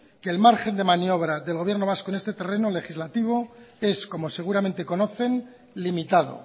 que el margen de maniobra del gobierno vasco en este terreno legislativo es como seguramente conocen limitado